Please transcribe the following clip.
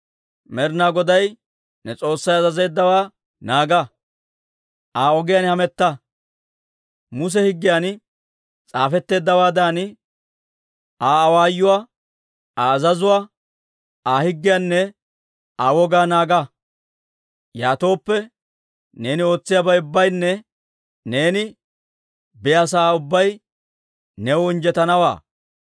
Med'inaa Goday ne S'oossay azazeeddawaa naaga; Aa ogiyaan hametta; Muse Higgiyan s'aafetteeddawaadan Aa awaayuwaa, Aa azazuwaa, Aa higgiyaanne Aa wogaa naaga. Yaatooppe, neeni ootsiyaabay ubbaynne neeni biyaasa'aa ubbay new injjetanawaa.